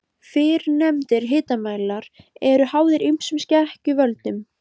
Fyrrnefndir hitamælar eru háðir ýmsum skekkjuvöldum.